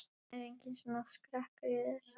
Er enginn svona skrekkur í þér?